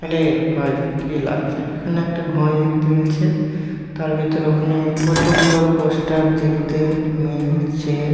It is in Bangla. আরে ভাই কি লাগছে এখানে একটা ঘড়ি দেখতে মিলছে তার ভিতরে ওখানে কতগুলো পোস্টার দেখতে মিল-ছে ।